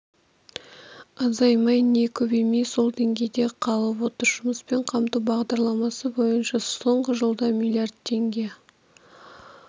азаймай не көбеймей сол деңгейде қалып отыр жұмыспен қамту бағдарламасы бойынша соңғы жылда миллиард теңге